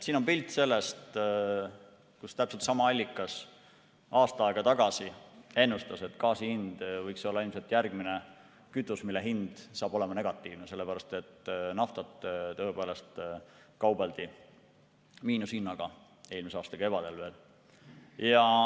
Siin on pilt sellest, kuidas täpselt sama allikas aasta aega tagasi ennustas, et gaas võiks olla ilmselt järgmine kütus, mille hind hakkab olema negatiivne, sest naftaga tõepoolest kaubeldi miinushinnaga veel eelmise aasta kevadel.